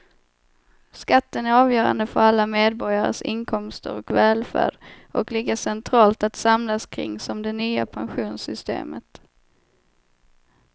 Skatten är avgörande för alla medborgares inkomster och välfärd och lika centralt att samlas kring som det nya pensionssystemet.